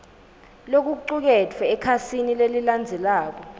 lokucuketfwe ekhasini lelilandzelako